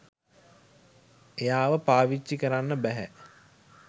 එයාව පාවිච්චි කරන්න බැහැ.